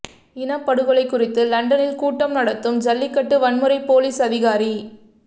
இனப்படுகொலை குறித்து லண்டனில் கூட்டம் நடத்தும் ஜல்லிக்கட்டு வன்முறை பொலீஸ் அதிகாரி